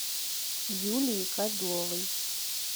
юлии козловой